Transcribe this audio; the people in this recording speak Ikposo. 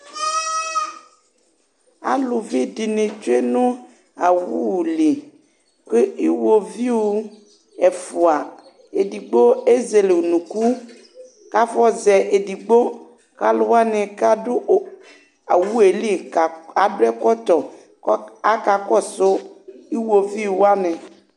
alũvi dïnï tsũe nũ awũli nkue iwóviu ɛfua edigbo ézélé ũnũkũ kafɔzɛ edigbo kalũ wani kadu o awueli ka k adũ ɛkɔtɔ kovc akakɔsũ iwoviũ wani